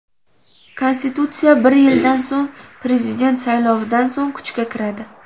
Konstitutsiya bir yildan so‘ng, prezident saylovidan so‘ng kuchga kiradi.